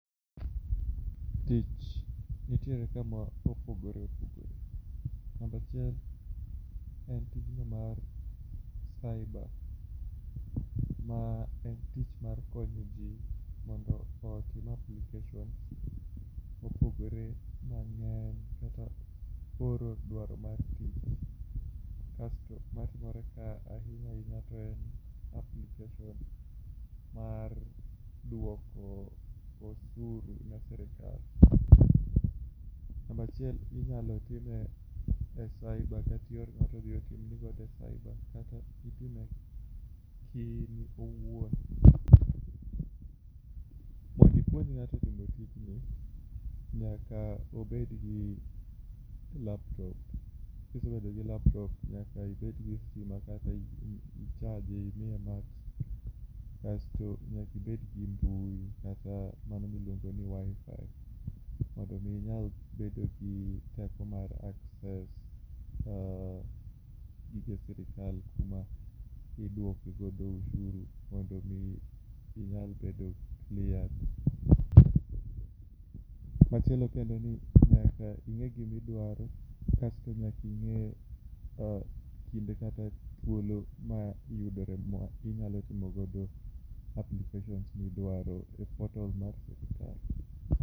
Tich nitiere ka ma opogore opogore, namba achiel en tijno mar saiba, ma en tich mar konyo jii mondo otim application mopogore mang'eny kata oro dwaro mar tich. Kasto matimore kaa ahinya ahinya to en application mar duoko osuru ne sirikal namba achiel inyalo time a saiba kati ior ng'ato odhi otim ni godo e saiba kata itime kiin owuon mond ipuonj ng'ato timo tijni, nyaka obed gi laptop. Kisebedo gi laptop nyaka ibed gi stima kata i ichaje imiye mach kasto nyaki ibed gi mbui kata mano miluongo ni WI-FI. Mondo mi inyal bedo gi teko mar access um gige sirikal kuma iduoke godo ushuru mondo mi inyal bedo cleared. Machielo kendo ni nyaka ing'e gimidwaro, kasto nyaki ing'e um kinde kata thuolo ma yudore ma inyalo timo godo applications midwaro e portal mar sirikal